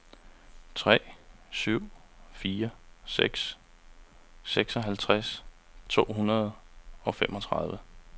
tre syv fire seks seksoghalvtreds to hundrede og femogtredive